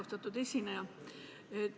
Austatud esineja!